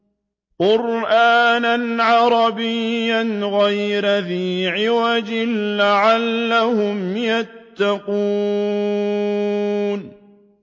قُرْآنًا عَرَبِيًّا غَيْرَ ذِي عِوَجٍ لَّعَلَّهُمْ يَتَّقُونَ